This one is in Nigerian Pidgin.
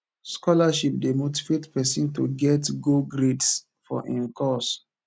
scholarship de motivate persin to get go grades for im course